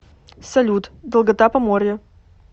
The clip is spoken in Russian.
салют долгота поморье